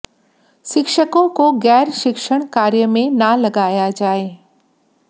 शिक्षकों को गैर शिक्षण कार्य में न लगाया जाए